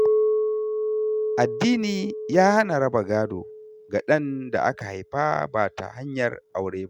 Addini ya hana raba gado ga ɗan da aka haifa ba ta hanyar aure ba.